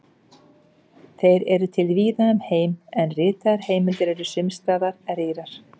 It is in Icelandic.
Þeir eru til víða um heim, en ritaðar heimildir eru sums staðar rýrar.